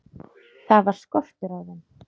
Það var skortur á þeim.